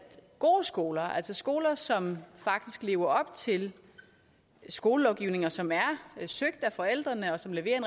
gode skoler altså skoler som faktisk lever op til skolelovgivningen og som er søgt af forældrene og som leverer